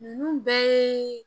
Ninnu bɛɛ ye